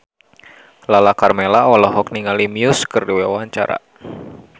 Lala Karmela olohok ningali Muse keur diwawancara